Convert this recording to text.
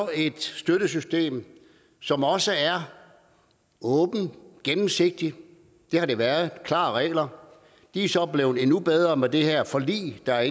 et støttesystem som også er åbent og gennemsigtigt det har det været der er klare regler det er så blevet endnu bedre med det her forlig der er